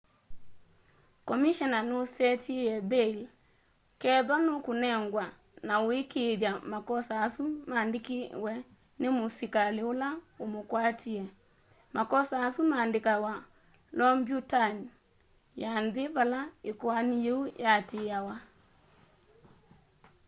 komishena nusetiie mbail kethwa nukunengwa na aikiithya makosa asu mandikiwe ni musikali ula umukwatie makosa asu mandikawa lombyutani ya nthi vala ikoani yiu yatiiawa